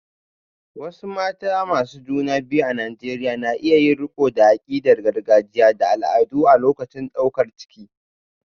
Wasu mata masu juna biyu a Najeriya na iya yin riko da akidar gargajiya da al'adu a lokacin daukar ciki.